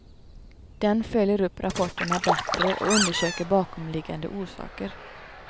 Den följer upp rapporterna bättre och undersöker bakomliggande orsaker.